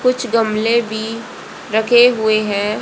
कुछ गमले भी रखे हुए हैं।